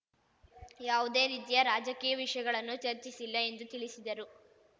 ಯಾವುದೇ ರೀತಿಯ ರಾಜಕೀಯ ವಿಷಯಗಳನ್ನು ಚರ್ಚಿಸಿಲ್ಲ ಎಂದು ತಿಳಿಸಿದರು